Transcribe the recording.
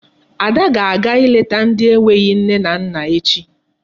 Ada ga-aga ileta ndị enweghị nne na nna echi.